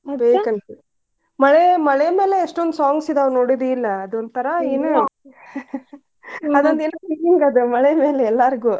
ಹೇ ಮಳೆ~ ಮಳಿಮ್ಯಾಲೆ ಎಷ್ಟೊಂದ್ songs ಇದಾವ ನೋಡಿದಿಲ್ ಅದೊಂಥರಾ ಇದು. ಮಳಿ ಮ್ಯಾಲೆ ಎಲ್ಲಾರಿಗೂ.